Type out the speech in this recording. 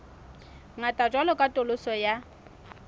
ngata jwalo ka katoloso ya